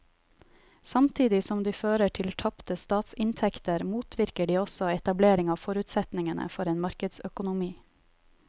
Samtidig som de fører til tapte statsinntekter motvirker de også etablering av forutsetningene for en markedsøkonomi.